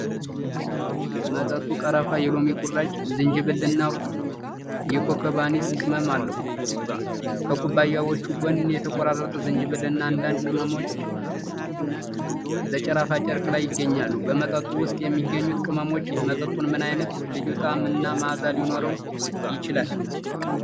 መጠጡ ቀረፋ፣ የሎሚ ቁራጭ፣ ዝንጅብል እና የኮከብ አኒስ ቅመም አለው። ከኩባያዎቹ ጎን የተቆራረጠ ዝንጅብል እና አንዳንድ ቅመሞች በሽራፋ ጨርቅ ላይ ይገኛሉ። በመጠጡ ውስጥ የሚገኙት ቅመሞች መጠጡን ምን አይነት ልዩ ጣዕም እና መዓዛ ሊሰጡት ይችላሉ?